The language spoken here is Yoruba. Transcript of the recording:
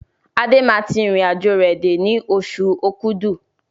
Adé máa tí irin àjò rẹ dé ní oṣù okúdù